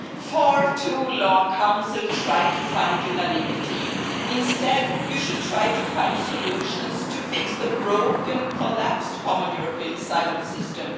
For too long, the Council has tried to find unanimity. Instead, it should try to find solutions to fix the broken, collapsed common European asylum system.